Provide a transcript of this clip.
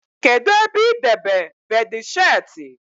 Kedụ ebe idebe beedịsheetị?